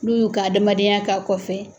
N'u y'u ka adamadenya k'a kɔfɛ.